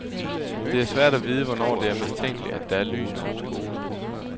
Det er svært at vide, hvornår det er mistænkeligt, at der er lys på en skole.